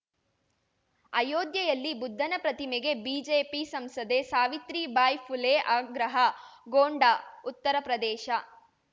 ಅಯೋಧ್ಯೆಯಲ್ಲಿ ಬುದ್ಧನ ಪ್ರತಿಮೆಗೆ ಬಿಜೆಪಿ ಸಂಸದೆ ಸಾವಿತ್ರಿಬಾಯಿ ಫುಲೆ ಆಗ್ರಹ ಗೊಂಡಾಉತ್ತರ ಪ್ರದೇಶ